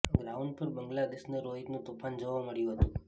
ground પર બંગલા દેશને રોહિતનું તોફાન જોવા મળ્યું હતું